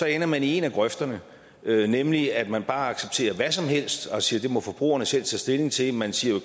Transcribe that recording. ender man i en af grøfterne nemlig at man bare accepterer hvad som helst og siger at det må forbrugerne selv tage stilling til man siger